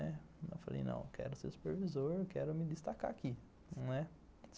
Falei, não, quero ser supervisor, quero me destacar aqui, não é